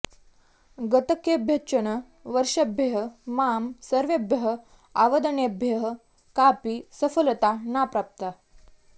गतकेभ्यश्चन् वर्षेभ्यः मां सर्वेभ्यः आवदनेभ्यः कापि सफलता ना प्राप्ता